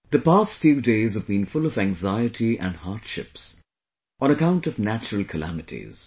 The past few days have been full of anxiety and hardships on account of natural calamities